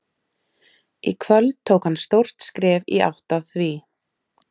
Í kvöld tók hann stórt skref í átt að því.